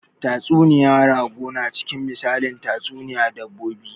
Tatsuniya rago na cikin misalin tatsuniyan dabbobi